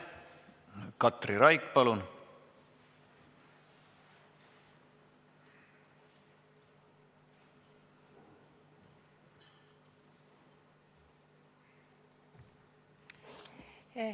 Katri Raik, palun!